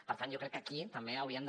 per tant jo crec que aquí també hauríem de